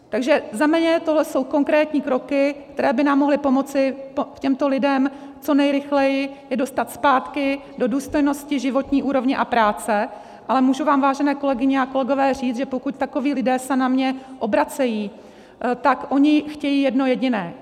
Takže za mě tohle jsou konkrétní kroky, které by nám mohly pomoci těmto lidem, co nejrychleji je dostat zpátky do důstojnosti životní úrovně a práce, ale můžu vám, vážené kolegyně a kolegové říct, že pokud takoví lidé se na mě obracejí, tak oni chtějí jedno jediné.